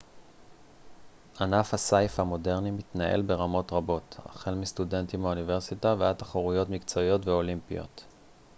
ענף הסיף המודרני מתנהל ברמות רבות החל מסטודנטים באוניברסיטה ועד תחרויות מקצועיות ואולימפיות